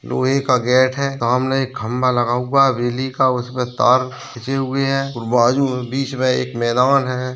लोहे का गेट है सामने एक खंभा लगा हुआ है बिजली का उसमें तार खीची हुई है बाजू बीच में एक मैदान है।